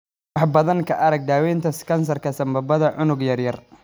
Wax badan ka arag daawaynta kansarka sambabada unug yar yar.